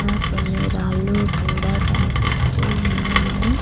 అక్కడ కొన్ని రాళ్లు కూడా కనిపిస్తూ ఉన్నాయి.